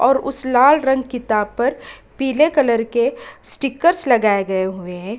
और उस लाल रंग की किताब पर पिले कलर के स्टिकर्स लगाए हुए हैं।